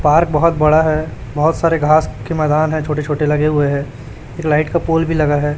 Park बोहोत बड़ा है बोहोत सारे घास के मैदान है छोटे छोटे लगे हुए है एक लाइट का पोल भी लगा हैं।